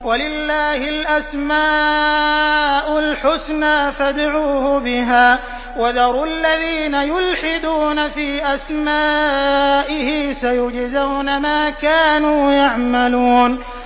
وَلِلَّهِ الْأَسْمَاءُ الْحُسْنَىٰ فَادْعُوهُ بِهَا ۖ وَذَرُوا الَّذِينَ يُلْحِدُونَ فِي أَسْمَائِهِ ۚ سَيُجْزَوْنَ مَا كَانُوا يَعْمَلُونَ